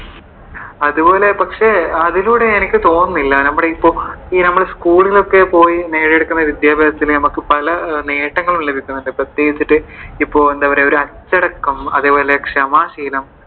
അതുപോലെ പക്ഷെ അതിലൂടെ എനിക്ക് തോന്നുന്നില്ല നമ്മുടെ ഈ നമ്മൾ ഈ school ലൊക്കെ പോയി നേടിയെടുക്കുന്ന വിദ്യാഭ്യാസത്തിനു നമുക്ക് പല നേട്ടങ്ങളും ലഭിക്കുന്നുണ്ട്, പ്രത്യേകിച്ചിട്ടു ഇപ്പോ എന്താ പറയുവാ ഒരു അച്ചടക്കം അതേപോലെ ക്ഷമ ശീലം